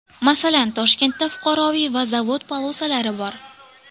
Masalan, Toshkentda fuqaroviy va zavod polosalari bor.